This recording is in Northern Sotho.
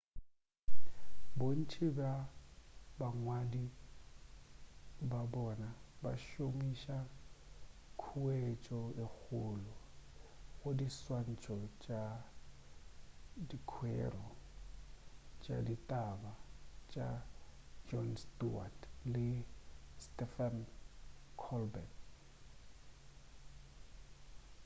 bontši bja bangwadi ba bona ba šomiša khuetšo ye kgolo go diswantšho tša dikwero tša ditaba tša jon stewart le stephen colbert